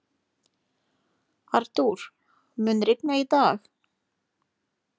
Artúr, mun rigna í dag?